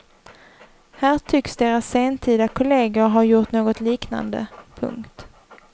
Här tycks deras sentida kolleger ha gjort något liknande. punkt